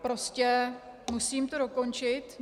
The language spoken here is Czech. Prostě musím to dokončit.